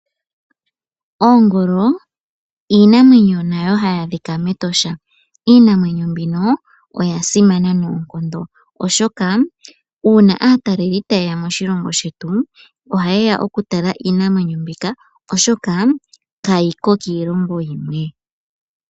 Oongolo iinamwenyo nayo hayi adhika mEtosha. Iinamwenyo mbino oya simana noonkondo, oshoka una aataleli taye ya moshilongo shetu oha yeya oku tala iinamwenyo mbika. Oshoka kayiko kiilongo yimwe.